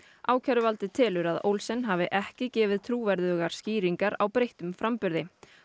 ákæruvaldið telur að Olsen hafi ekki gefið trúverðugar skýringar á breyttum framburði